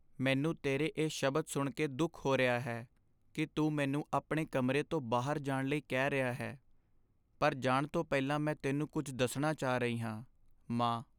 ਮੈਨੂੰ ਤੇਰੇ ਇਹ ਸ਼ਬਦ ਸੁਣ ਕੇ ਦੁੱਖ ਹੋ ਰਿਹਾ ਹੈ ਕੀ ਤੂੰ ਮੈਨੂੰ ਆਪਣੇ ਕਮਰੇ ਤੋਂ ਬਾਹਰ ਜਾਣ ਲਈ ਕਹਿ ਰਿਹਾ ਹੈ, ਪਰ ਜਾਣ ਤੋਂ ਪਹਿਲਾਂ ਮੈਂ ਤੈਨੂੰ ਕੁੱਝ ਦੱਸਣਾ ਚਾਹ ਰਹੀ ਹਾਂ ਮਾਂ